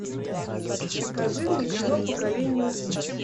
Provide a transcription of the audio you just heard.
покажи мне кино поколение убийц